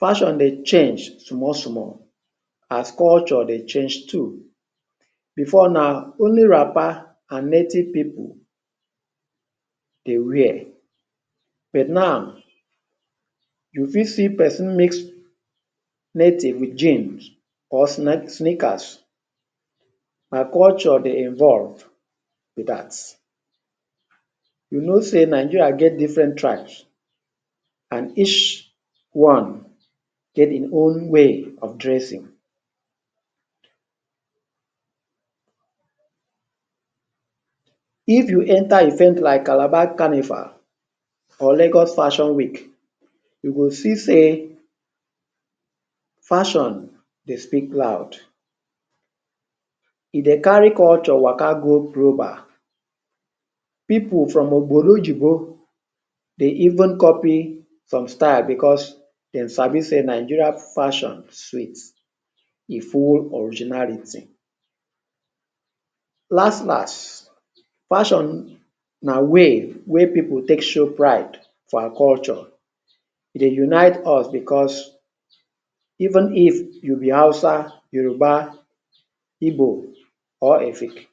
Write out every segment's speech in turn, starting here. fashion dey change small, small as culture dey change too. Before now, only wrapper and native pipu dey wear. But now, you fit see pesin mix native with jeans or sneakers. Na culture dey evolved be dat. You know sey Nigeria get different tribes and each one get e own way of dressing. If you enter event like Calabar Carnival, or Lagos Fashion Week, you go see sey, fashion dey speak loud. E dey carry culture waka go global. Pipu from Obodoyinbo dey even copy some style, because they sabi sey Nigerian fashion sweets, a full originality. Last, last, fashion na way wey people take show pride for our culture, dey unite us because even if you be Hausa, Yoruba, Igbo, or Efik,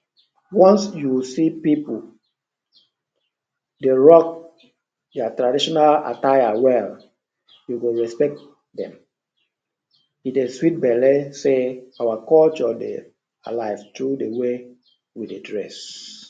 once you see pipu dey rock their traditional attire well, you go respect dem. E dey sweet belly sey our culture dey alive through the way we dey dress.